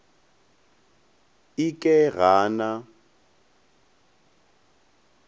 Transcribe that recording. e ke ga a na